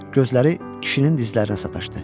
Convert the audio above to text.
Gözləri kişinin dizlərinə sataşdı.